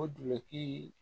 O duki